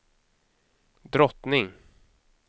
drottning